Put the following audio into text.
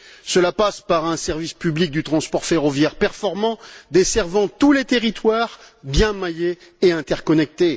Cela passe par un service public du transport ferroviaire performant, desservant tous les territoires, bien maillé et interconnecté.